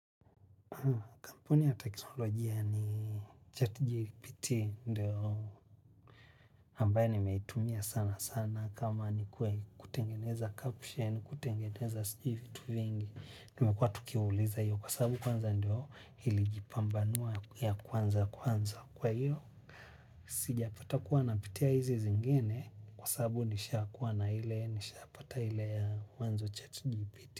Kampuni ya teknolojia ni chart jipiti ndio ambaye nimetumia sana sana kama ni kutengeneza caption, kutengeneza sijuivitu vingi. Nimekuwa tukiuliza hiyo kwa sabu kwanza ndio ilijipambanua ya kwanza kwanza kwa hiyo. Sijapata kuwa na piti ya hizi zingine kwa sabu nishapata hile ya mwanzo chat jipiti.